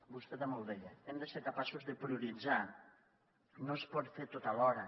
vostè també ho deia hem de ser capaços de prioritzar no es pot fer tot alhora